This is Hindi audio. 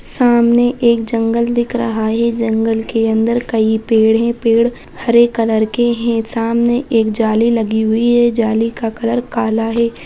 सामने एक जंगल दिख रहा है | जंगल के अंदर कई पेड़ हैं | पेड़ हरे कलर के हैं सामने एक जाली लगी हुई है जाली का कलर काला है